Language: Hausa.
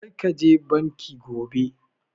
Kar ka je banki gobe!